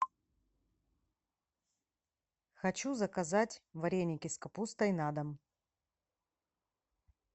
хочу заказать вареники с капустой на дом